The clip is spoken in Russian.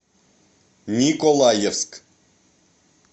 николаевск